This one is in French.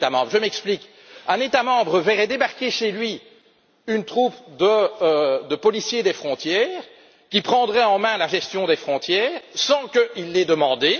Je m'explique un État membre verrait débarquer chez lui une troupe de policiers des frontières qui prendrait en main la gestion des frontières sans qu'il ne l'ait demandé.